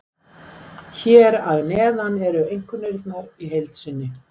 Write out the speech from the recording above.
Hér að neðan eru einkunnirnar í heild sinni.